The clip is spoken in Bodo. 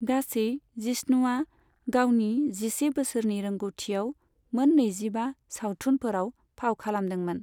गासै, जिष्णुआ गावनि जिसे बोसोरनि रोंग'थिआव मोन नैजिबा सावथुनफोराव फाव खालामदोंमोन।